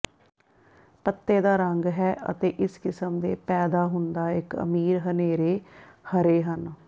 ਪੱਤੇ ਦਾ ਰੰਗ ਹੈ ਅਤੇ ਇਸ ਕਿਸਮ ਦੇ ਪੈਦਾ ਹੁੰਦਾ ਇੱਕ ਅਮੀਰ ਹਨੇਰੇ ਹਰੇ ਹਨ